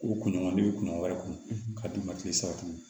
O kunɲɔgɔn ne bɛ kunɲɔgɔn wɛrɛ kun ka d'u ma kile saba